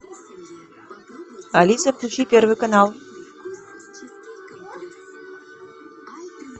алиса включи первый канал